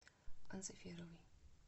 анциферовой